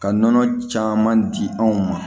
Ka nɔnɔ caman di anw ma